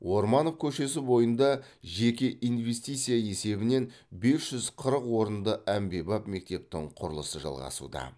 орманов көшесі бойында жеке инвестиция есебінен бес жүз қырық орынды әмбебап мектептің құрылысы жалғасуда